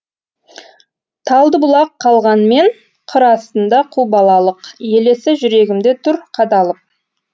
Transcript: талдыбұлақ қалғанмен қыр астында қу балалық елесі жүрегімде тұр қадалып